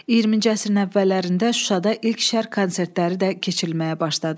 20-ci əsrin əvvəllərində Şuşada ilk Şərq konsertləri də keçirilməyə başladı.